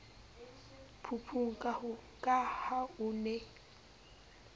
phupung ka ha o ne